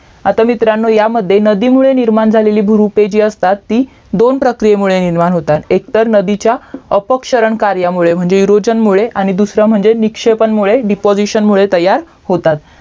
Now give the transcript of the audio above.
आता मित्रांनो ह्यामध्ये नदीमुळे निर्माण झालेली भुरुपे जी असतात ती दोन प्रक्रियेमुळे निर्माण होतात एकतर नदीच्या अपक्षरन कार्यामुळे म्हणजे विरोजन मुळे आणि दूसरा म्हणजे निक्षेपण मुळे डिपोजेशन मुळे तयार होतात